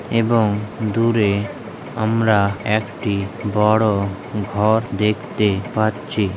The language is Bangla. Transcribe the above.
এবং দূরে আমরা একটি বড় ঘর দেখতে পাচ্ছি।